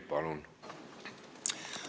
Palun!